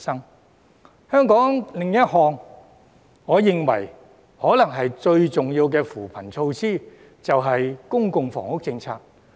在香港而言，另一項我認為最重要的扶貧措施，便是公共房屋政策。